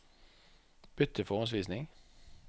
Bytt til forhåndsvisning